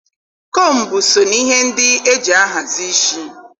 Kombu so na ihe ndị e ji ahazi ishi